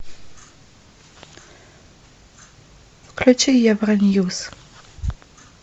включи евро ньюс